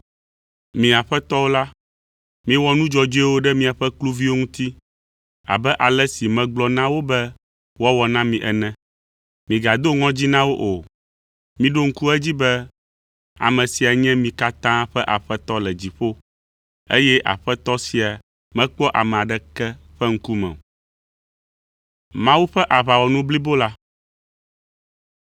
Mi aƒetɔwo la, miwɔ nu dzɔdzɔewo ɖe miaƒe kluviwo ŋuti abe ale si megblɔ na wo be woawɔ na mi ene. Migado ŋɔdzi na wo o, miɖo ŋku edzi be ame sia nye mi katã ƒe Aƒetɔ le dziƒo, eye Aƒetɔ sia mekpɔa ame aɖeke ƒe ŋkume o.